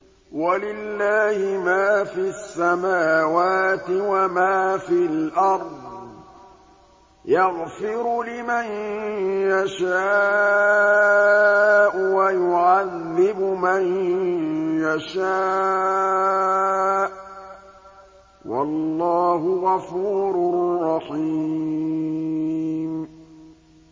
وَلِلَّهِ مَا فِي السَّمَاوَاتِ وَمَا فِي الْأَرْضِ ۚ يَغْفِرُ لِمَن يَشَاءُ وَيُعَذِّبُ مَن يَشَاءُ ۚ وَاللَّهُ غَفُورٌ رَّحِيمٌ